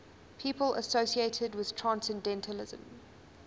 people associated with transcendentalism